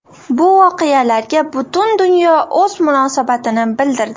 Bu voqealarga butun dunyo o‘z munosabatini bildirdi.